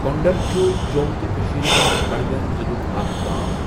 کۄٚنٛڈُر چھُ جۆم تہٕ کٔشیٖر ہُنٛد بَڈگام ضِلُک اَکھ گام